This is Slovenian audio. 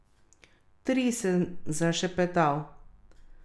Tri, sem zašepetal.